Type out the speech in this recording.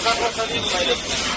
Qazanınızı təmizləyin.